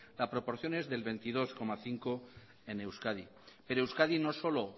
la proporción es del veintidós coma cinco en euskadi pero euskadi no solo